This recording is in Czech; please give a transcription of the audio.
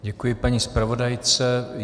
Děkuji paní zpravodajce.